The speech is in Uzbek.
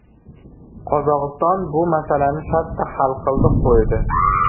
Qozog‘iston bu masalani shartta hal qildi, qo‘ydi.